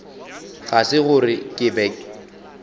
ga se gore ke be